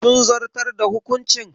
Sun zartar da hukuncin?